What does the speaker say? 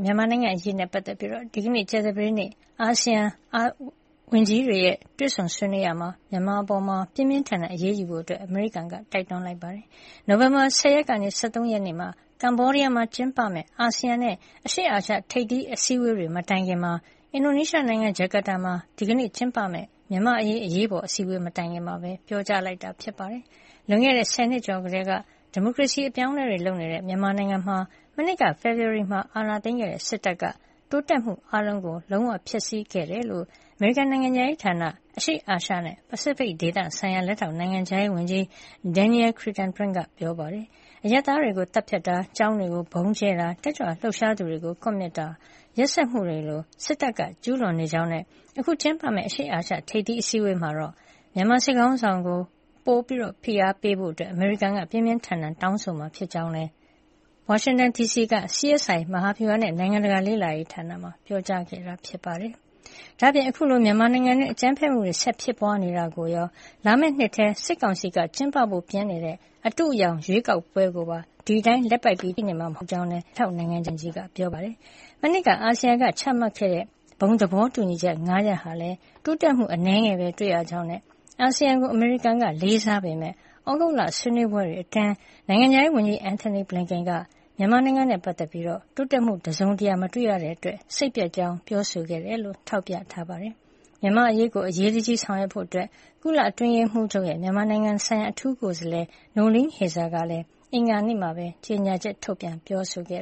မြန်မာနိုင်ငံ့အရေးနဲ့ပတ်သက်ပြီး ဒီကနေ့ ကြာသပတေးနေ့ ASEAN အာဆီယံဝန်ကြီးတွေ တွေ့ဆုံဆွေးနွေးရာမှာ မြန်မာအပေါ် ပြင်းပြင်းထန်ထန် အရေးယူဖို့ အမေရိကန်က တိုက်တွန်းလိုက်ပါတယ်။ နိုဝင်ဘာလ ၁၀ ရက်ကနေ ၁၃ ရက်မှာ ကမ္ဘောဒီးယားမှာ ကျင်းပမယ့် အာဆီယံနဲ့ အရှေ့အာရှထိပ်စီးအစည်းဝေးတွေ မတိုင်ခင် အင်ဒိုနီးရှားနိုင်ငံ ဂျကာတာမှာ ဒီကနေ့ ကျင်းပမယ့် မြန်မာ့အရေး အရေးပေါ်အစည်းဝေး မတိုင်ခင် ပြောကြားလိုက်တာပါ။ လွန်ခဲ့တဲ့ ဆယ်နှစ်ကျော်ကတည်းက ဒီမိုကရေစီအပြောင်းအလဲတွေ လုပ်နေတဲ့ မြန်မာနိုင်ငံမှာ မနှစ်က ဖေဖေါ်ဝါရီမှာ အာဏာသိမ်းခဲ့တဲ့ စစ်တပ်က တိုးတက်မှုအားလုံးကို လုံးဝဖျက်ဆီးခဲ့တယ်လို့ အမေရိကန် နိုင်ငံခြားရေးဌာန အရှေ့အာရှနဲ့ ပစိဖိတ်ဒေသဆိုင်ရာ လက်ထောက်နိုင်ငံခြားရေးဝန်ကြီး Daniel Kritenbrink က ပြောပါတယ်။ အရပ်သားတွေကို သတ်ဖြတ်တာ ကျောင်းတွေကို ဗုံးကြဲတာ၊ တက်ကြွလှုပ်ရှားသူတွေကို ကွပ်မျက်တာလို ရက်စက်မှုတွေကို စစ်တပ်ကျူးလွန်နေကြောင်းနဲ့ အခု ကျင်းပမယ့်အရှေ့အာရှ ထိပ်သီးအစည်းဝေးမှာ မြန်မာစစ်ခေါင်းဆောင်တွေကို ဖိအားပိုပေးဖို့ အမေရိကန်က ပြင်းပြင်းထန်ထန် တောင်းဆိုမှာ ဖြစ်ကြောင်းလည်း ဝါရှင်တန်ဒီစီက CSI မဟာဗျူဟာနဲ့ နိုင်ငံတကာလေ့လာရေးဌာနမှာ ပြောကြားခဲ့ပါတယ်။ ဒါ့အပြင် အခုလို မြန်မာနိုင်ငံတွင်း အကြမ်းဖက်မှုတွေ ဆက်ဖြစ်ပွါးနေတာကိုရော လာမယ့်နှစ်ထဲ စစ်ကောင်စီက ကျင်းပဖို့ ပြင်နေတဲ့ အတုအယောင် ရွေးကောက်ပွဲကိုပါ ဒီအတိုင်း လက်ပိုက်ကြည့်နေမှာ မဟုတ်ကြောင်း လက်ထောက်နိုင်ငံခြားရေးဝန်ကြီးက ပြောပါတယ်။ မနှစ်က အာဆီယံက ချမှတ်ခဲ့တဲ့ ဘုံသဘောတူညီချက် ၅ ရပ် ဟာလည်း တိုးတက်မှု အနည်းငယ်ပဲတွေ့ရကြောင်းနဲ့ အာဆီယံကို အမေရိကန်က လေးစားပေမယ့် သြဂုတ်လ ဆွေးနွေးပွဲတွေအတွင်း နိုင်ငံခြားရေးဝန်ကြီး Antony Blinken က မြန်မာနိုင်ငံနဲ့ ပတ်သက်ပြီး တိုးတက်မှု တစုံတရာ မတွေ့ရတဲ့အတွက် စိတ်ပျက်ကြောင်း ပြောဆိုခဲ့တယ်လို့ လည်း ထောက်ပြခဲ့တာပါ။ မြန်မာ့အရေးကို အရေးတကြီး ဆောင်ရွက်ဖို့ ကုလအတွင်းရေးမှုးချုပ်ရဲ့ မြန်မာနိုင်ငံဆိုင်ရာ အထူးကိုယ်စားလှယ် Noeleen Heyzer ကလည်း အင်္ဂါနေ့မှာပဲ ကြေညာချက် ထုတ်ပြန်ပြောဆိုခဲ့